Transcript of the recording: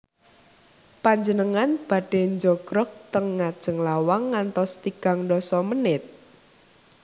Panjenengan badhe njogrog ten ngajeng lawang ngantos tigang ndasa menit?